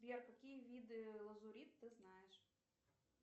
сбер какие виды лазурита ты знаешь